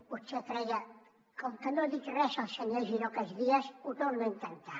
potser creia com que no ha dit res el senyor giró aquests dies ho torno a intentar